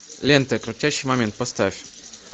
лента крутящий момент поставь